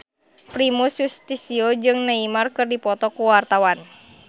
Primus Yustisio jeung Neymar keur dipoto ku wartawan